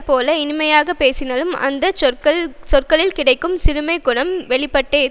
பகைவர் நண்பரைப்போல இனிமையாக பேசினாலும் அந்த சொற்களில் கிடக்கும் சிறுமைக் குணம் வெளிப்பட்டே தீரும்